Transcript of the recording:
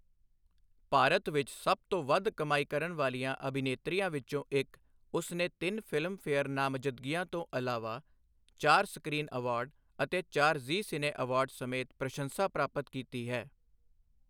ਭਾਰਤ ਵਿੱਚ ਸਭ ਤੋਂ ਵੱਧ ਕਮਾਈ ਕਰਨ ਵਾਲੀਆਂ ਅਭਿਨੇਤਰੀਆਂ ਵਿੱਚੋਂ ਇੱਕ, ਉਸ ਨੇ ਤਿੰਨ ਫ਼ਿਲਮਫੇਅਰ ਨਾਮਜ਼ਦਗੀਆਂ ਤੋਂ ਇਲਾਵਾ ਚਾਰ ਸਕ੍ਰੀਨ ਅਵਾਰਡ ਅਤੇ ਚਾਰ ਜ਼ੀ ਸਿਨੇ ਅਵਾਰਡ ਸਮੇਤ ਪ੍ਰਸ਼ੰਸਾ ਪ੍ਰਾਪਤ ਕੀਤੀ ਹੈ।